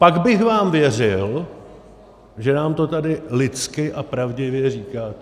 Pak bych vám věřil, že nám to tady lidsky a pravdivě říkáte.